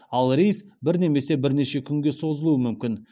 ал рейс бір немесе бірнеше күнге созылуы мүмкін